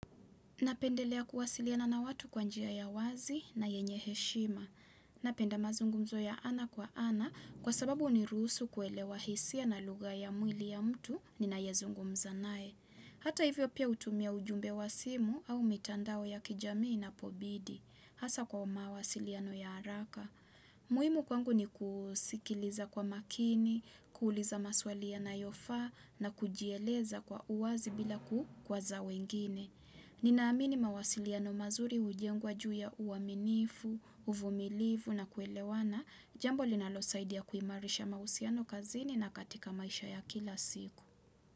Napendelea kuwasiliana na watu kwa njia ya wazi na yenye heshima. Napenda mazungumzo ya ana kwa ana kwa sababu nirusu kuelewa hisia na lugha ya mwili ya mtu ninayezungumza nae. Hata hivyo pia hutumia ujumbe wa simu au mitandao ya kijamii inapobidi. Hasa kwa mawasiliano ya haraka. Muhimu kwangu ni kuu sikiliza kwa makini, kuuliza maswali yonayofaa na kujieleza kwa uwazi bila kukwaza wengine. Ninaamini mawasiliano mazuri hujengwa ju ya uaminifu, uvumilifu na kuelewana. Jambo linalosaidia kuimarisha mahusiano kazini na katika maisha ya kila siku.